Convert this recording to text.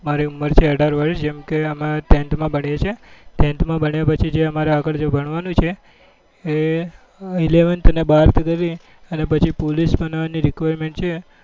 મારી ઉમર છે અઢાર વર્ષ જેમ કે અમર tenth માં ભણીએ છીએ tenth માં ભણ્યા પછી જે આગળ જો અમારે ભણવા નું છે એ eleventh અને બાર્થ કરી ને અને પછી police બનવા ની requirement છે